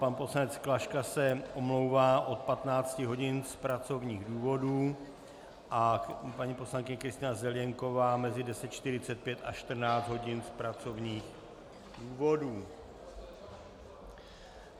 Pan poslanec Klaška se omlouvá od 15 hodin z pracovních důvodů a paní poslankyně Kristýna Zelienková mezi 10.45 a 14 hodin z pracovních důvodů.